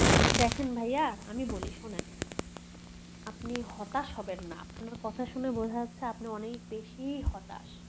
দেখেন ভাইয়া আমি বলি শুনেন আপনি হতাশ হবেন না আপনার কথা শুনে বুঝা যাচ্ছে আপনি অনেক বেশি হতাশ